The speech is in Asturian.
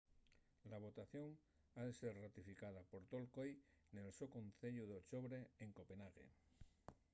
la votación ha ser ratificada por tol coi nel so conceyu d’ochobre en copenh.ague